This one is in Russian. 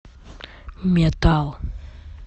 метал